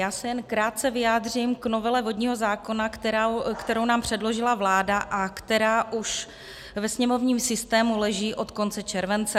Já se jen krátce vyjádřím k novele vodního zákona, kterou nám předložila vláda a která už ve sněmovním systému leží od konce července.